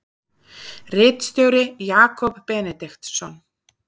Ritstjóri Jakob Benediktsson.